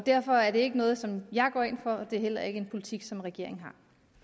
derfor er det ikke noget som jeg går ind for og det er heller ikke en politik som regeringen